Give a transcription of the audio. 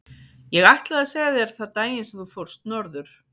Ég ætlaði að segja þér það daginn sem þú fórst norður.